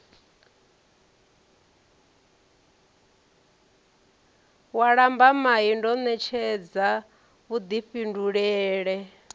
wa lambamai ndo ṋetshedza vhuḓifhindulele